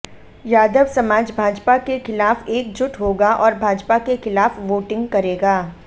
यादव समाज भाजपा के खिलाफ एकजुट होगा और भाजपा के खिलाफ वोटिंग करेगा